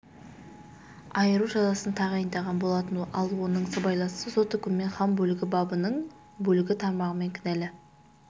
айыру жазасын тағайындаған болатын ал оның сыбайласы сот үкімімен хан бөлігі бабының бөлігі тармағымен кінәлі